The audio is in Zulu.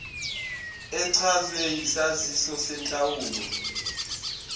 echazwe yisaziso senhlawulo